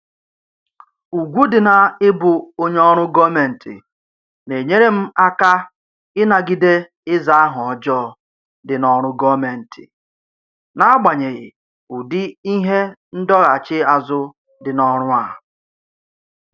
Ugwu dị na-ịbụ onye ọrụ gọọmentị na-enyere m aka ịnagide ịza aha ọjọọ dị n'ọrụ gọọmentị n'agbanyeghị ụdị ihe ndọghachi azụ dị n'ọrụ a